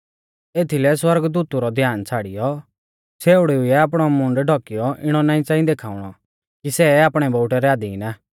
एथीलै सौरगदूतु रौ ध्यान छ़ाड़ियौ छ़ेउड़िऊ ऐ आपणौ मूंड डौकीयौ इणौ च़ांई देखाउणौ कि सै आपणै बोउटै रै अधीन आ